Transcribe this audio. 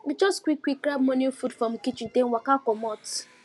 we just quick quick grab morning food from kitchen then waka comot